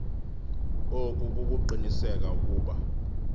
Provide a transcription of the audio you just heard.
oku kukuqinisekisa ukuba